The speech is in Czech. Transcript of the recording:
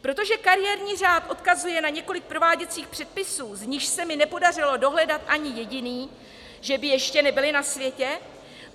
Protože kariérní řád odkazuje na několik prováděcích předpisů, z nichž se mi nepodařilo dohledat ani jediný - že by ještě nebyly na světě?